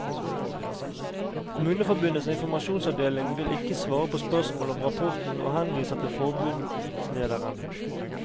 Kommuneforbundets informasjonsavdeling vil ikke svare på spørsmål om rapporten og henviser til forbundslederen.